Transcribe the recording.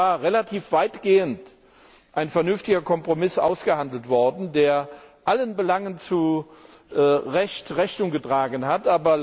Hier war relativ weitgehend ein vernünftiger Kompromiss ausgehandelt worden, der allen Belangen zu Recht Rechnung getragen hat.